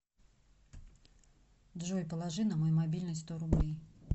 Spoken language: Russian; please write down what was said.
джой положи на мой мобильный сто рублей